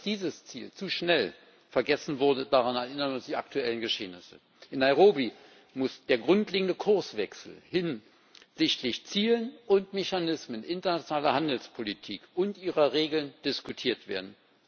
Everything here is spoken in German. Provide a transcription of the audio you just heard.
Dass dieses Ziel zu schnell vergessen wurde, daran erinnern uns die aktuellen Geschehnisse. In Nairobi muss der grundlegende Kurswechsel hinsichtlich Zielen und Mechanismen internationaler Handelspolitik und ihrer Regeln diskutiert werden.